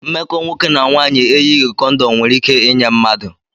Mmekọ nwoke na nwanyị eyighi kondom nwere ike inye mmadụ